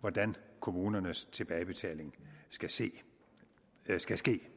hvordan kommunernes tilbagebetaling skal ske skal ske